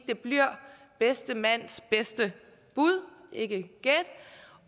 det bliver bedste mands bedste bud ikke gæt